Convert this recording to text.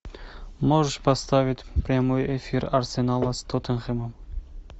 можешь поставить прямой эфир арсенала с тоттенхэмом